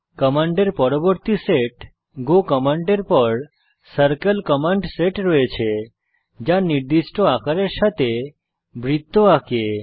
কমান্ডের পরবর্তী set go কমান্ডের পর সার্কেল কমান্ড সেট রয়েছে যা নির্দিষ্ট আকারের সাথে বৃত্ত আঁকে